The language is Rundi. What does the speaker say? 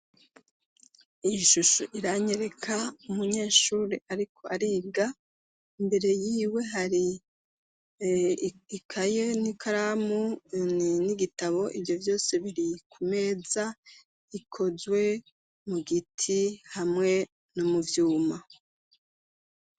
Iyi shusho iranyereka umunyeshuri, ariko ariga imbere yiwe hari ikaye n'ikaramuni n'igitabo ivyo vyose biri ku meza ikozwe mu giti hamwe no mu vyuma.